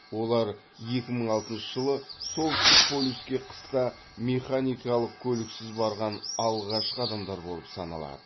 олар екі мың алтыншы жылы солтүстік полюске қыста механикалық көліксіз барған алғашқы адамдар болып саналады